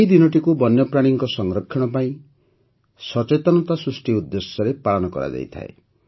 ଏହି ଦିନଟିକୁ ବନ୍ୟପ୍ରାଣୀଙ୍କ ସଂରକ୍ଷଣ ପାଇଁ ସଚେତନତା ସୃଷ୍ଟି ଉଦେ୍ଦଶ୍ୟରେ ପାଳନ କରାଯାଇଥାଏ